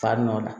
Fa nɔ la